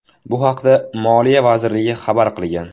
Bu haqda Moliya vazirligi xabar qilgan .